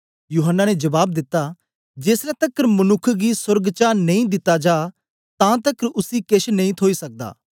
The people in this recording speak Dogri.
यूहन्ना ने जबाब दिता जेसलै तकर मनुक्ख गी सोर्ग चा नेई दिता जा तां तकर उसी केछ नेई थोई सकदा